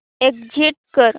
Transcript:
exit कर